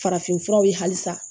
Farafinfuraw ye halisa